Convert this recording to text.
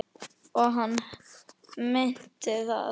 Og hann meinti það.